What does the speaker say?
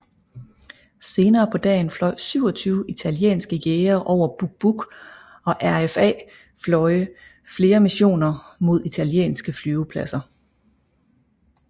Senere på dagen fløj 27 italienske jagere over Buq Buq og RAF fløje flere missioner mod italienske flyvepladser